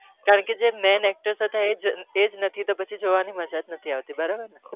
કારણ કે main actors એ જ નથી તો જોવાની મજા જ નથી આવતી